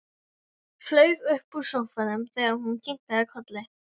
Flaug upp úr sófanum þegar hún kinkaði kolli.